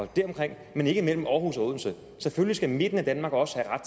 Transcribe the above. deromkring men ikke mellem aarhus og odense selvfølgelig skal midten af danmark også have ret